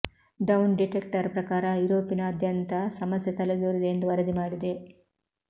down detector ಪ್ರಕಾರ ಯುರೋಪನಾದ್ಯಂತ ಸಮಸ್ಯೆ ತಲೆದೋರಿದೆ ಎಂದು ವರದಿ ಮಾಡಿದೆ